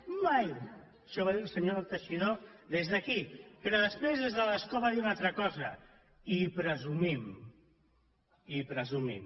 mai això ho va dir el senyor teixidó des d’aquí però després des de l’escó va dir una altra cosa i presumim i presumim